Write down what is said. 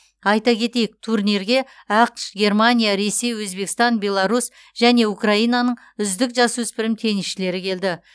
айта кетейік турниге ақш германия ресей өзбекстан беларусь және украинаның үздік жасөспірім теннсшілері келді